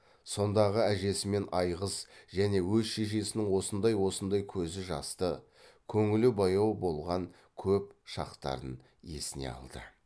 сондағы әжесі мен айғыз және өз шешесінің осындай осындай көзі жасты көңілі баяу болған көп шақтарын есіне алды